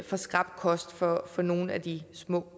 for skrap kost for for nogle af de små